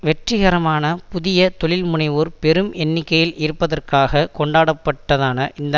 வெற்றிகரமான புதிய தொழில்முனைவோர் பெரும் எண்ணிக்கையில் இருப்பதற்காக கொண்டாடப்பட்டதான இந்த